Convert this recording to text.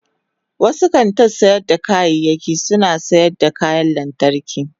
wasu kantin sayar da kaya suna sayar da kayan lantarki.